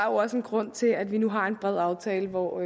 også en grund til at vi nu har en bred aftale hvor